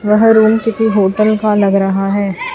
वह रूम किसी होटल का लग रहा है।